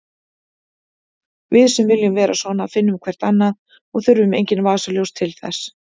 Við sem viljum vera svona finnum hvert annað og þurfum engin vasaljós til þess.